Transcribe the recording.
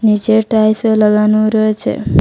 নীচে টাইলসও লাগানো রয়েছে।